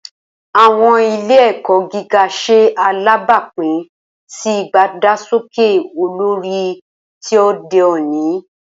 Awọn ile-ẹkọ giga ṣe alabapin si idagbasoke olori ti ode oni.